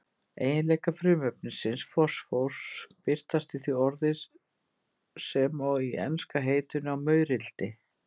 Eiginleikar frumefnisins fosfórs birtast í því orði sem og í enska heitinu á maurildi.